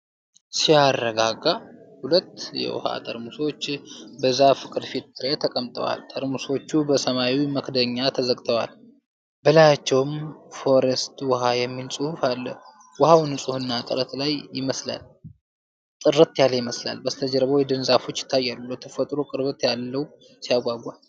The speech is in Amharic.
ሲያረጋጋ! ሁለት የውሃ ጠርሙሶች በዛፍ ቅርፊት ላይ ተቀምጠዋል። ጠርሙሶቹ በሰማያዊ መክደኛ ተዘግተዋል፣ በላያቸውም ፎሬስት ውሃ' የሚል ጽሑፍ አለ። ውኃው ንፁህና ጥርት ያለ ይመስላል። ከበስተጀርባው የደን ዛፎች ይታያሉ። ለተፈጥሮ ቅርበት ያለው ሲያጓጓ!